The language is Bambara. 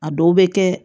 A dɔw bɛ kɛ